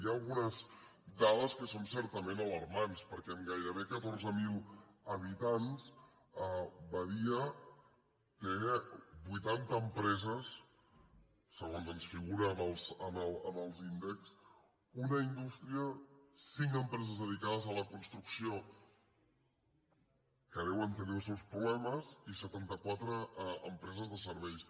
hi ha algunes dades que són certament alarmants perquè amb gairebé catorze mil habitants badia té vuitanta empreses segons ens figura en els índexs una indústria cinc empreses dedicades a la construcció que deuen tenir els seus problemes i setantaquatre empreses de serveis